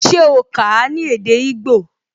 Se o kà á ní èdè igbó?